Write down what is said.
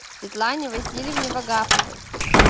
светлане васильевне вагаповой